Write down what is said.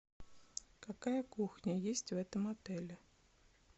какая кухня есть в этом отеле